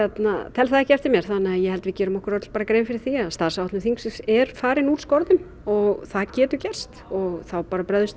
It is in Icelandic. tel það ekki eftir mér þannig að ég held við gerum okkur öll grein fyrir því að starfsáætlun þingsins er farin úr skorðum og það getur gerst og þá bara bregðumst